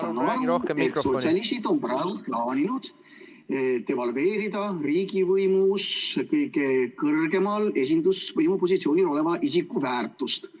... ja ma saan aru, et sotsialistid on praegu plaaninud devalveerida riigivõimu kõige kõrgemal esindusvõimu positsioonil oleva isiku väärtust.